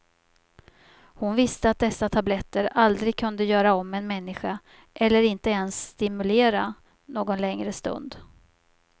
Hon visste att dessa tabletter aldrig kunde göra om en människa eller inte ens stimulera någon längre stund.